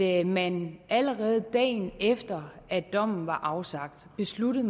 at man allerede dagen efter at dommen var afsagt besluttede